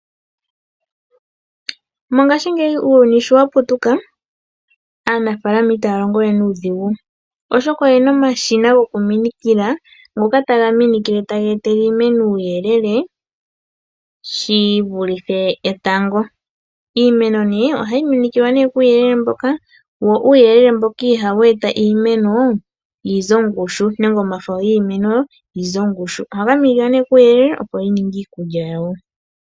Mongashingeyi uuyuni shi wa putuka, aanafaalama itaya longowe nuudhigu, oshoka oye na omashina gokuminikila ngoka ta ga minikile taga etele iimeno uuyelele shi vulithe etango. Iimeno nee ohayi minikilwa nee kuuyelele mboka, wo uuyelele mboka ihawu eta iimeno yi ze ongushu nenge omafo giimeno ga ze ongushu. Ohaga minikilwa nee kuuyelele opo yi ninge iikulya yawo.